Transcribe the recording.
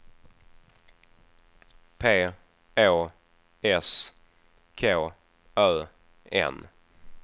P Å S K Ö N